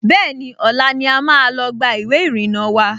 Bẹ́ẹ̀ni, ọ̀la ni a máa lọ gba ìwé ìrìnnà wa